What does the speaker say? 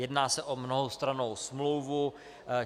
Jedná se o mnohostrannou smlouvu.